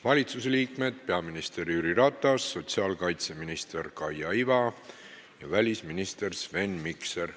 Valitsuse liikmetest on kohal peaminister Jüri Ratas, sotsiaalkaitseminister Kaia Iva ja välisminister Sven Mikser.